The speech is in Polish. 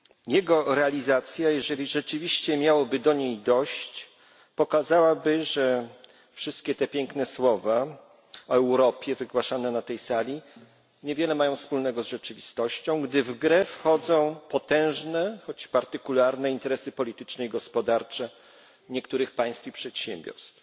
Jego realizacja, jeżeli rzeczywiście miałoby do niej dojść, pokazałaby, że wszystkie te piękne słowa o Europie wygłaszane na tej sali mają niewiele wspólnego z rzeczywistością, gdy w grę wchodzą potężne, choć partykularne interesy polityczne i gospodarcze niektórych państw i przedsiębiorstw.